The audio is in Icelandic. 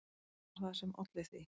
Hvað var það sem olli því?